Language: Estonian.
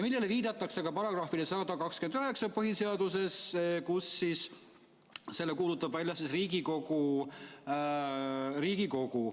Viidatakse ka põhiseaduse §‑le 129,, et selle kuulutab välja Riigikogu.